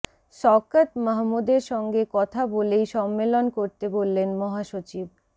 শওকত মাহমুদের সঙ্গে কথা বলেই সম্মেলন করতে বললেন মহাসচিব